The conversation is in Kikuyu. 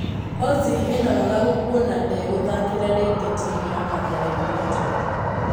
Ozil ena wagagu kuona ndegũthakira ringi timu ya Mathare United